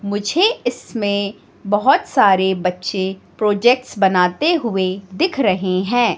मुझे इसमें बहोत सारे बच्चे प्रोजेक्ट्स बनाते हुए दिख रहे हैं।